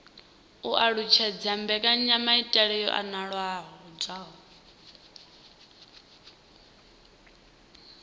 u alutshedza mbekanyamaitele yo anavhuwaho